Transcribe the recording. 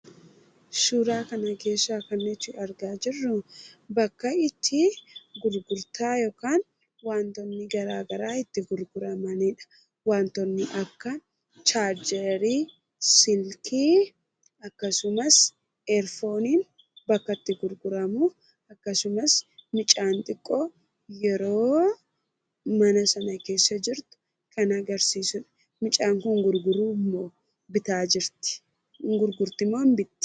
Suuraa kana keessaa kan nuti argaa jirru bakka itti gurgurtaa yookaan bakka wantootni gara garaa itti gurguramanidha. Wantootni akka chargerii silkii akkasumas eerdooniin itti gurguramanidha. Akkasumas mucaa xiqqoon mana sana keessa yeroo jirtu kan agarsiisudha. Mucaan kun ni gurgurtimoo ni bitti?